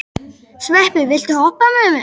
Sveppi, viltu hoppa með mér?